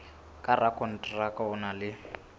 ka rakonteraka o na le